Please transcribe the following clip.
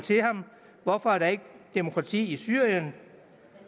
hvorfor er der ikke demokrati i syrien